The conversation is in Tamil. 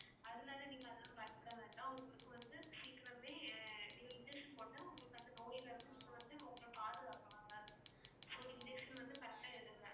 அதனால நீங்க அதெல்லாம் பயப்பட வேண்டாம். உங்களுக்கு வந்து சீக்கிரமே நீங்க injection போட்டா அந்த நோயிலிருந்து நீங்க வந்து உங்களை பாதுகாக்கலாம் ma'am so injection வந்து correct ஆ எடுங்க.